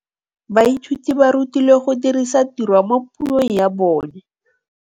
Baithuti ba rutilwe go dirisa tirwa mo puong ya bone.